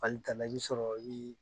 Fali tana i bɛ sɔrɔ